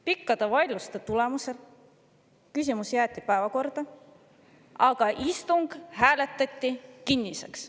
Pikkade vaidluste tulemusel küsimus jäeti päevakorda, aga istung hääletati kinniseks.